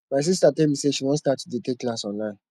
my sister tell me say she wan start to dey take classes online